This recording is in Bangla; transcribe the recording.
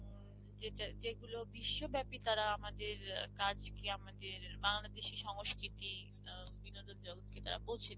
যেটা যেগুলো বিশ্বব্যাপী তারা আমরা আমাদের কাজকে আমাদের বাংলাদেশের সংস্কৃতি আহ বিনোদন জগতকে তারা পৌঁছে দিবে।